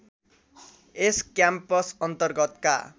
यस campus अन्तर्गतका